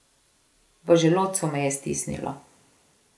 V želodcu me je stisnilo.